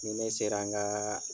Ni ne sera n ka